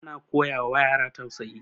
ana koyawa yara tausayi